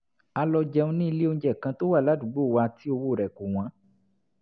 a lọ jẹun ní ilé-oúnjẹ kan tó wà ládùúgbò wa tí owó rẹ̀ kò wọ́n